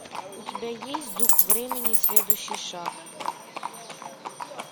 у тебя есть дух времени следующий шаг